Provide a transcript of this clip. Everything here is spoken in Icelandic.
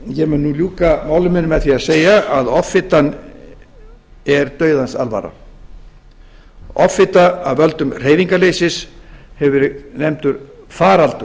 ég mun nú ljúka máli mínu með því að segja að offitan er dauðans alvara offita af völdum hreyfingarleysis hefur verið nefndur faraldur